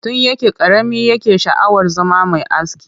Tun yana ƙarami yake sha'awar zama mai aski